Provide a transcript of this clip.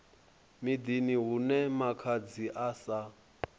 miḓini hune makhadzi a sa